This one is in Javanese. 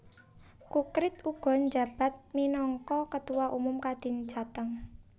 Kukrit uga njabat minangka Ketua Umum Kadin Jateng